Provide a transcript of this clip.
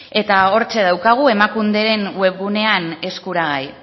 eta hortxe daukagu emakunderen webgunean eskuragai